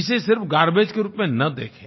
इसे सिर्फ गार्बेज के रूप में न देखें